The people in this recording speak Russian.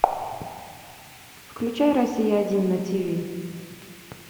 включай россия один на ти ви